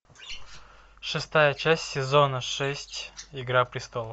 шестая часть сезона шесть игра престолов